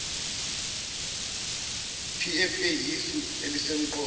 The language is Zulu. pfa iyisu elisemqoka